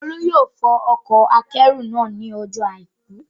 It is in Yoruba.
Olú yóò fọ ọkọ̀-akẹ́rù náà ní ọjọ́ àìkú